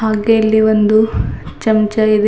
ಹಾಗೆ ಇಲ್ಲಿ ಒಂದು ಚಮಚ ಇದೆ.